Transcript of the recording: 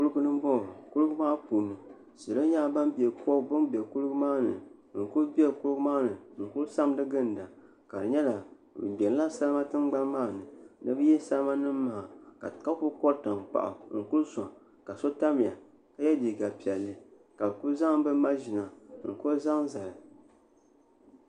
Kuligi n boŋo kuligi maa puuni salo nyɛla ban bɛ kuligi maa ni n kuli bɛ kuligi maa ni n kuli Samdi ginda ka di nyɛla bi gbitila salima tingbani maa ni ni bi yihi salima nim maa ka kuli kori tankpaɣu n ku soŋ ka so tamya ka yɛ liiga piɛlli ka bi ku zaŋ bi maʒina n ku zaŋ zali